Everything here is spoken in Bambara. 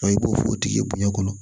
i b'o o tigi bonya kɔnɔ